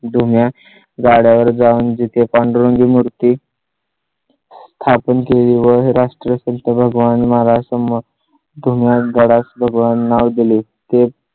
धुम्या गाड्या वर जाऊन तिथे पांडुरंगा ची मूर्ती . आपण थ्रीवर हे राष्ट्रीय संत असेल तर भगवान मला असं मग तुम्ही घास बघा नाव दिले